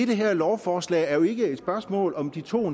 det her lovforslag er jo ikke et spørgsmål om de to